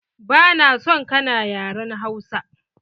Ba na son kana yaren Hausa!